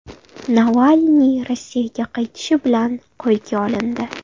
Navalniy Rossiyaga qaytishi bilan qo‘lga olindi.